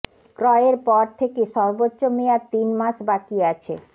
ক্রয়ের পর থেকে সর্বোচ্চ মেয়াদ তিন মাস বাকি আছে